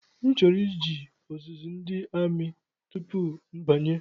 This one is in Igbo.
M chọrọ ije ọzụzụ ndị amị tupu mbanye